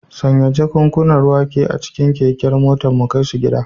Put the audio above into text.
Sanya jakunkunan wake a cikin keken motar mu kai su gida.